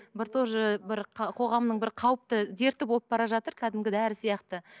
бір тоже бір қоғамның бір қауіпті дерті болып бара жатыр кәдімгі дәрі сияқты